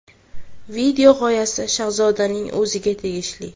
Video g‘oyasi Shahzodaning o‘ziga tegishli.